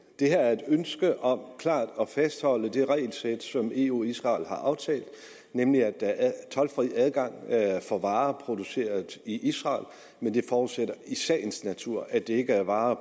det her er et ønske om klart at fastholde det regelsæt som eu og israel har aftalt nemlig at der er toldfri adgang for varer produceret i israel men det forudsætter i sagens natur at det ikke er varer